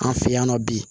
An fɛ yan nɔ bi